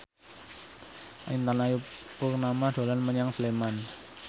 Intan Ayu Purnama dolan menyang Sleman